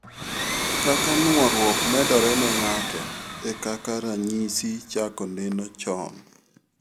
Kaka nuoruok medore ne ng'ato, e kaka ranyisi chako neno chon